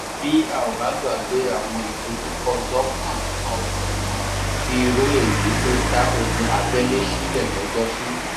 bẹ ò bá gbàgbé àwọn ìdojúkọ lọlọkanòjọkan bíi irú èyí ló dá ogun abẹlé sílẹ lọjọsí